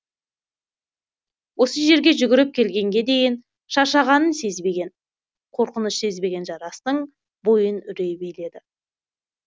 осы жерге жүгіріп келгенге дейін шаршағанын сезбеген қорқыныш сезбеген жарастың бойын үрей биледі